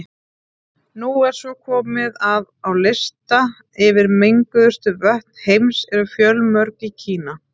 Nú er svo komið að á lista yfir menguðustu vötn heims eru fjölmörg í Kína.